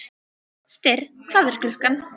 Styrr, hvað er klukkan?